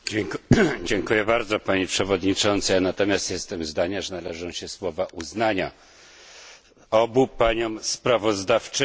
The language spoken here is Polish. Pani Przewodnicząca! Ja natomiast jestem zdania, że należą się słowa uznania obu paniom sprawozdawczyniom tego raportu.